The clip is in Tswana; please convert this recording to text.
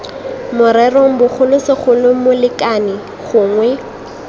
morerong bogolo segolo molekane gongwe